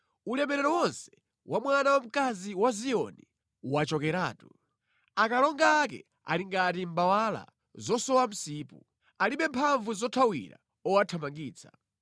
Ulemerero wonse wa mwana wamkazi wa Ziyoni wachokeratu. Akalonga ake ali ngati mbawala zosowa msipu; alibe mphamvu zothawira owathamangitsa.